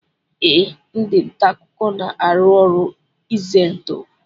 Ee, ndị ntaakụkọ na-arụ ọrụ izendụ